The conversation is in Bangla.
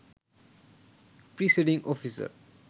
presiding officer